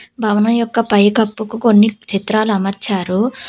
భవనం యొక్క పైకప్పుకు కొన్ని చిత్రాలు అమర్చారు.